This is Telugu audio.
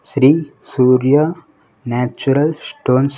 Shri Surya natural stones .